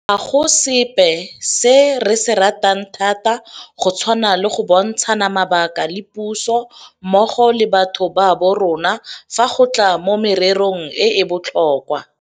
Ga go sepe se re se ratang thata go tshwana le go bontshana mabaka le puso mmogo le batho ba borona fa go tla mo mererong e e botlhokwa.